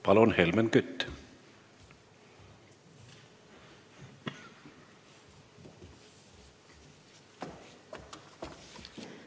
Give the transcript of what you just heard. Palun, Helmen Kütt!